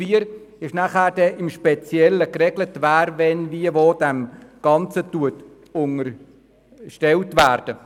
In Artikel 4 wird im Speziellen geregelt, wer wann wie und wo dem Ganzen unterstellt ist.